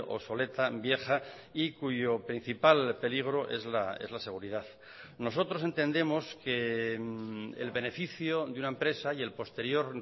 obsoleta vieja y cuyo principal peligro es la seguridad nosotros entendemos que el beneficio de una empresa y el posterior